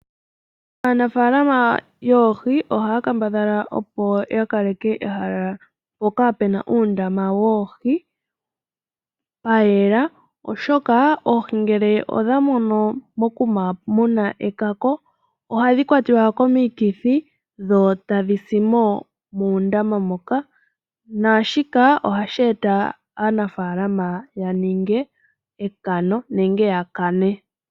Aanafaalama yoohi ohaya kambadhala opo ya kaleke ehala mpoka pu na uundama woohi pwayela oshoka oohi ngele idha mono mokuma mu na oohi mu na ekako, ohadhi kwatiwa komikithi, sho tadhi si mo muundama moka, naashika ohashi eta aanafaalama ya ninge ekano nenge ya kane.